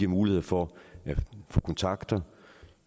mulighed for at få kontakter